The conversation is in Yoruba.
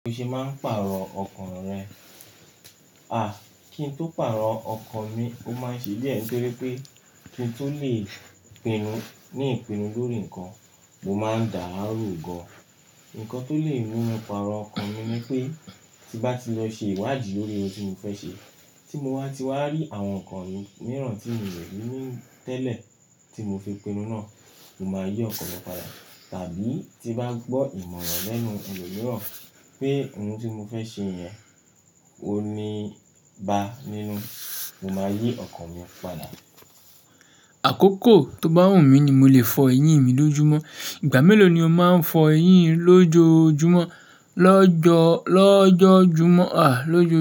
Bi o ṣe máa ń pàrọ̀ ọkàn rẹ? Àh, kí n tó pàrọ̀ ọkàn mi, ó máa ń ṣe díẹ̀ nitorí pé kí n tó lè pinnu ní ìpinnu lórí nǹkan, mo máa ń dà a ro gan. Nǹkan tó lè mú mi pàrọ̀ ọkàn mi ni pé, tí bá ti lọ ṣe ìwádìí lórí ohun tí mo fẹ́ ṣe, tí mo wá ti wá rí àwọn nǹkan mìíràn tí mi ò rí ní tẹ́lẹ̀ tí mo fi pinnu náà, mo máa yí ọkàn mi padà. Tàbí tí bá gbọ́ ìmọ̀ràn lẹ́nu ẹni mìíràn pé ohun tí mo fẹ́ ṣe yẹn, ó ní i bá nínú, mo máa yí ọkàn mi padà. Àkókò tó bá wù mí ni mo lè fọ eyín mi lójúmọ́. Ìgbà mélòó ni o máa ń fọ eyín lóojojúmọ́, lọ́jọ́, lọ́jọ́júmọ́, àh, lójo?